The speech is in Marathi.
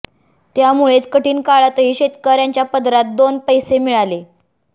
त्यामुळेच कठीण काळातही शेतकऱ्यांच्या पदरात दोन पैसे मिळाले